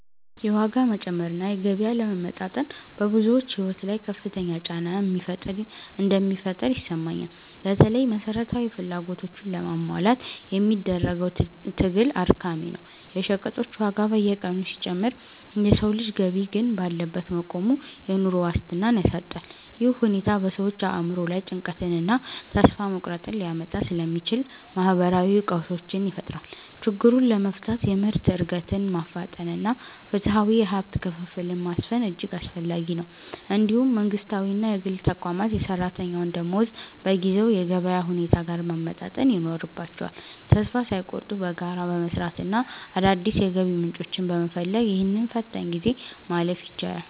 የዋጋ መጨመር እና የገቢ አለመመጣጠን በብዙዎች ሕይወት ላይ ከፍተኛ ጫና እንደሚፈጥር ይሰማኛል። በተለይም መሠረታዊ ፍላጎቶችን ለማሟላት የሚደረገው ትግል አድካሚ ነው። የሸቀጦች ዋጋ በየቀኑ ሲጨምር የሰው ልጅ ገቢ ግን ባለበት መቆሙ፣ የኑሮ ዋስትናን ያሳጣል። ይህ ሁኔታ በሰዎች አእምሮ ላይ ጭንቀትንና ተስፋ መቁረጥን ሊያመጣ ስለሚችል፣ ማኅበራዊ ቀውሶችን ይፈጥራል። ችግሩን ለመፍታት የምርት ዕድገትን ማፋጠንና ፍትሐዊ የሀብት ክፍፍልን ማስፈን እጅግ አስፈላጊ ነው። እንዲሁም መንግሥታዊና የግል ተቋማት የሠራተኛውን ደመወዝ በጊዜው የገበያ ሁኔታ ጋር ማመጣጠን ይኖርባቸዋል። ተስፋ ሳይቆርጡ በጋራ በመሥራትና አዳዲስ የገቢ ምንጮችን በመፈለግ፣ ይህንን ፈታኝ ጊዜ ማለፍ ይቻላል።